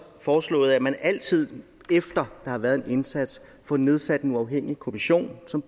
foreslået at man altid efter der har været en indsats får nedsat en uafhængig kommission som